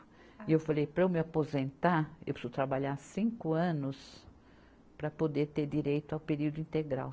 E eu falei, para eu me aposentar, eu preciso trabalhar cinco anos para poder ter direito ao período integral.